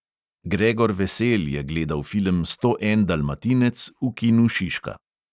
Gregor vesel je gledal film sto en dalmatinec v kinu šiška.